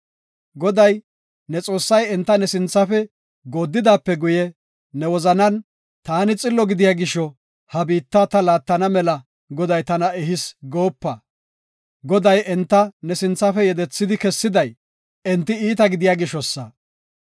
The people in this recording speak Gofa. Goday, ne Xoossay enta ne sinthafe gooddidaape guye, ne wozanan, “Taani xillo gidiya gisho, ha biitta ta laattana mela Goday tana ehis” goopa. Goday enta ne sinthafe yedethidi kessiday enti iita gidiya gishosa.